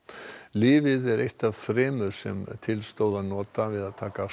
lyfið er eitt af þremur sem til stóð að nota við að taka